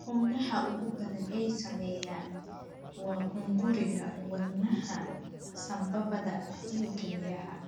Xubnaha ugu badan ee saameeya waa hunguriga, wadnaha, sambabada, iyo kelyaha.